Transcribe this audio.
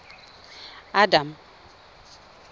adam